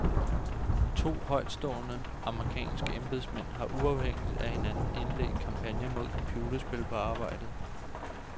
To højtstående amerikanske embedsmænd har uafhængigt af hinanden indledt kampagner mod computerspil på arbejdet.